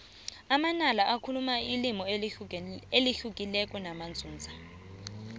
amanala bakhuluma ilimi elihlukileko namanzunza